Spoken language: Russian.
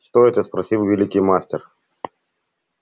что это спросил великий мастер